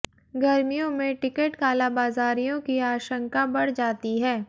गर्मियों में टिकट कालाबाजारियों की आशंका बढ़ जाती है